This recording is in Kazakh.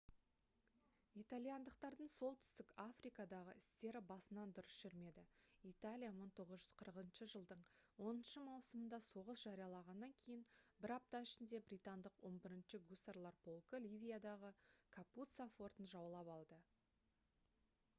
итальяндықтардың солтүстік африкадағы істері басынан дұрыс жүрмеді италия 1940 жылдың 10 маусымында соғыс жариялағаннан кейін бір апта ішінде британдық 11-ші гусарлар полкы ливиядағы капуццо фортын жаулап алды